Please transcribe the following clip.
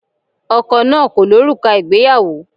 Ọkọ náà kò lo òrùka ìgbéyàwó.